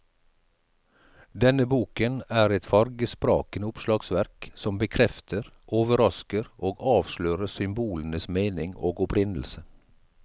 Denne boken er et fargesprakende oppslagsverk som bekrefter, overrasker og avslører symbolenes mening og opprinnelse.